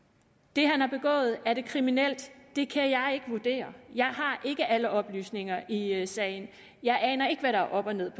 det han har begået kriminelt det kan jeg ikke vurdere jeg har ikke alle oplysninger i sagen jeg aner ikke hvad der er op og ned i